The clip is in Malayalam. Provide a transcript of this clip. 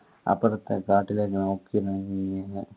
അപ്പറത്തെ കാട്ടിലേക്ക് നോക്കി ഇങ്ങനെ